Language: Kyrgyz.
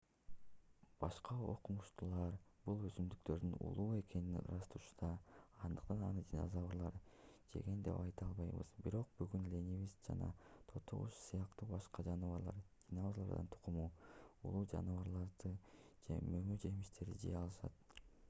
башка окумуштуулар бул өсүмдүктөрдүн уулуу экенин ырасташууда андыктан аны динозаврлар жеген деп айта албайбыз. бирок бүгүн ленивец жана тоту куш сыяктуу башка жаныбарлар динозаврлардын тукуму уулуу жалбырактарды же мөмө-жемиштерди жей алышат